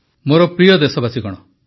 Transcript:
ମୋର ପ୍ରିୟ ଦେଶବାସୀଗଣ